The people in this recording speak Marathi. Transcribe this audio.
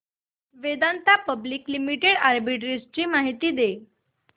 वेदांता पब्लिक लिमिटेड आर्बिट्रेज माहिती दे